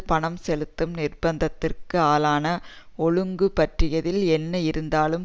பணம் செலுத்தும் நிர்பந்தத்திற்கு ஆளான ஒழுங்கு பற்றியதில் என்ன இருந்தாலும்